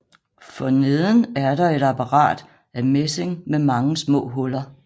For neden er der et apparat af messing med mange små huller